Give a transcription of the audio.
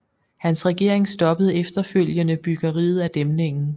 Hans regering stoppede efterfølgende byggeriet af dæmningen